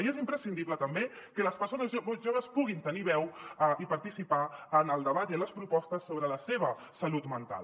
i és imprescindible també que les persones joves puguin tenir veu i participar en el debat i en les propostes sobre la seva salut mental